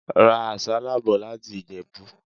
Ra àsálà bò láti Ìjẹ̀bú.